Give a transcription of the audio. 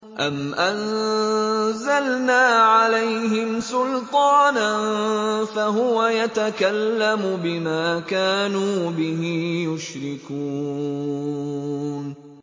أَمْ أَنزَلْنَا عَلَيْهِمْ سُلْطَانًا فَهُوَ يَتَكَلَّمُ بِمَا كَانُوا بِهِ يُشْرِكُونَ